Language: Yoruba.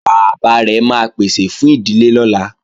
Bàbá rẹ̀ máa pèsè fún ìdílé lọ́la